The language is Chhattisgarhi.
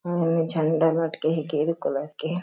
ओमा झंडा लटके हे गेरू कलर के--